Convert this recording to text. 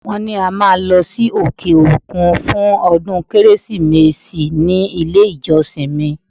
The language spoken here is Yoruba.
Wọ́n ní a máa lọ sí òkè-òkun fún ọdún Kérésìmesì ní ilé-ìjọsìn mi.